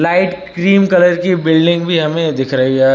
एक cream colour की building भी हमें दिख रही है।